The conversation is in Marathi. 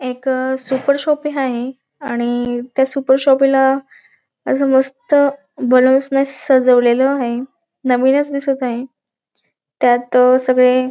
एक सुपर शॉपी हाये आणि त्या सुपर शॉपी ला अस मस्त बलोन्स ने सजवलेल आहे नवीनच दिसत आहे. त्यात अ सगळे --